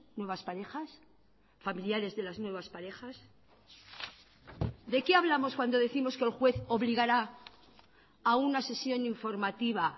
nuevas parejas familiares de las nuevas parejas de qué hablamos cuando décimos que el juez obligará a una sesión informativa